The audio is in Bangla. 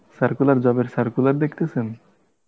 circular job এর circular দেখতেছেন?